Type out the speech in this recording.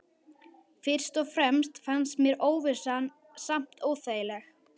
Fyrst og fremst fannst mér óvissan samt óþægileg.